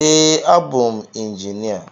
Ee abụ m injinia